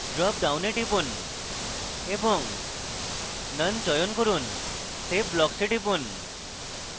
drop ডাউনে টিপুন এবং none চয়ন করুন save blocks এ টিপুন